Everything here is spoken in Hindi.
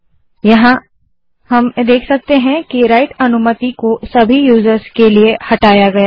अब हम देख सकते हैं कि राइट अनुमति को सभी यूजर्स के लिए हटाया गया है